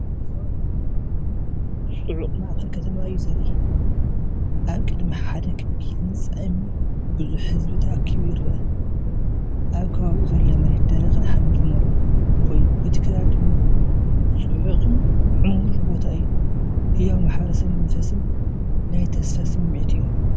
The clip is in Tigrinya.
ጽዑቕ ማእከል ከተማ እዩ ዘርኢ። ኣብ ቅድሚ ሓደ ክቢ ህንጻ እምኒ ብዙሕ ህዝቢ ተኣኪቡ ይርአ። ኣብ ከባቢኡ ዘሎ መሬት ደረቕን ሓመድ ዝመልኦን ኮይኑ፡ እቲ ከባቢ ድማ ጽዑቕን ዕሙርን ቦታ እዩ። ህያው ማሕበረሰባዊ መንፈስን ናይ ተስፋ ስምዒት እዩ።